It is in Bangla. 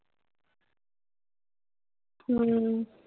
হম